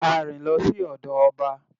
A rìn lọ sí ọ̀dọ̀ ọba